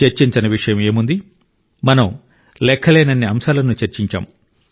చర్చించని విషయం ఏముంది మనం లెక్కలేనన్ని అంశాలను చర్చించాం